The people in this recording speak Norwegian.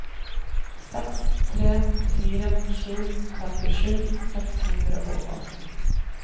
seks tre fire sju femtisju seks hundre og atten